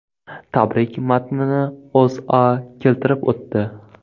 Tabrik matnini O‘zA keltirib o‘tdi .